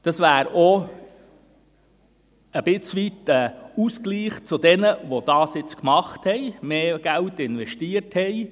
Das wäre auch ein Stück weit ein Ausgleich für jene, die das jetzt gemacht und mehr Geld investiert haben.